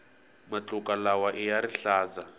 matluka lawaiya rihlaza